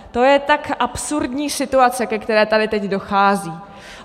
To je tak absurdní situace, ke které tady teď dochází!